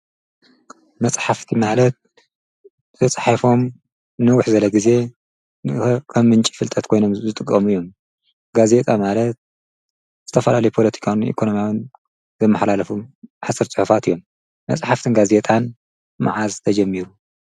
መፃሕፍቲ ማለት ተፃሒፎም ንንዉሕ ዝዘለ ጊዜ ንከም ምንጪ ፍልጠት ኮይኖም ዝጥቕሙ እዮም፡፡ ጋዜጣ ማለት ዝተፈላለዩ ፖለቲካዊን ኢኮኖማያውን ዘመሓላልፉ ሓፂር ጽሑፋት እዮም፡፡ መፃሕፍትን ጋዜጣን መዓዝ ተጀሚሩ?